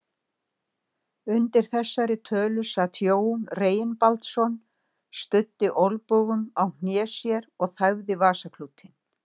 Undir þessari tölu sat Jón Reginbaldsson, studdi olnbogum á hné sér og þæfði vasaklútinn.